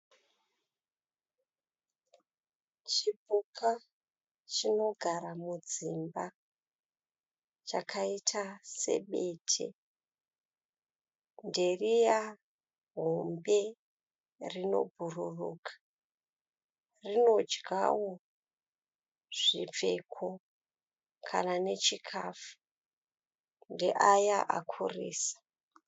Chipuka chinogara mudzimba chakaita sebete. Nderiya hombe rinobhururuka. Rinodyawo zvipfeko kana nechikafu. Ndeaya akurisa.